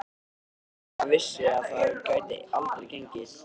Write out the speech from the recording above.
Lena vissi að það gæti aldrei gengið.